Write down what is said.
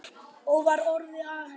Og var orðið að henni?